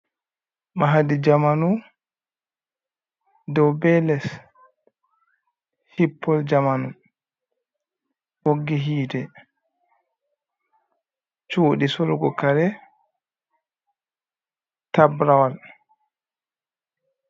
Mahadi zamanu dow be les, hippol zamanu ɓoggi hiite, shuuɗi solgo kare tabrawal.